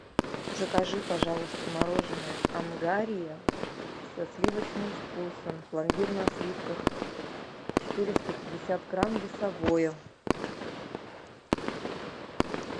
закажи пожалуйста мороженое ангария со сливочным вкусом пломбир на сливках четыреста пятьдесят грамм весовое